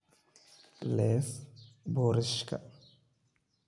Leeef boorashka.